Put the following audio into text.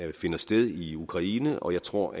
det finder sted i ukraine og jeg tror